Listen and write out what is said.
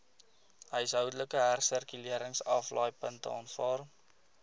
huishoudelike hersirkuleringsaflaaipunte aanvaar